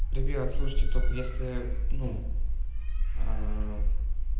ребят слушайте только если ну